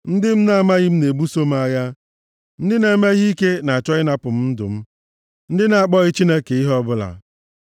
Ndị m na-amaghị na-ebuso m agha; ndị na-eme ihe ike na-achọ ịnapụ m ndụ m, ndị na-akpọghị Chineke ihe ọbụla. Sela